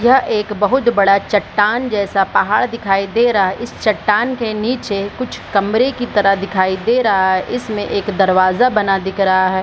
यह एक बहुत बड़ा चट्टान जैसा पहाड़ दिखाई दे रहा है इस चट्टान के नीचे कुछ कमरे की तरह दिखाई दे रहा है इसमें एक दरवाजा बना दिख रहा है ।